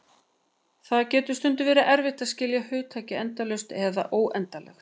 Það getur stundum verið erfitt að skilja hugtakið endalaust eða óendanlegt.